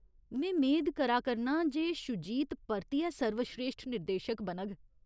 में मेद करा करनां जे शूजित परतियै सर्वस्रेश्ठ निर्देशक बनग।